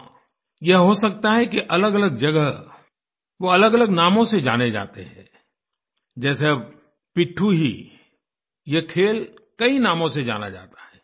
हाँ यह हो सकता है कि अलगअलग जगह वो अलगअलग नामों से जाने जाते थे जैसे अब पिट्ठू ही यह खेल कई नामों से जाना जाता है